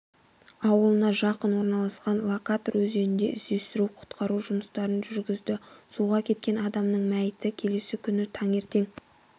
ауылына жақын орналасқан лакатор өзенінде іздеу-құтқару жұмыстарын жүргізді суға кеткен адамның мәйіті келесі күні таңертең